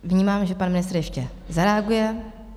Vnímám, že pan ministr ještě zareaguje.